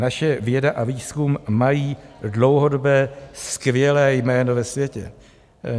Naše věda a výzkum mají dlouhodobé skvělé jméno ve světě.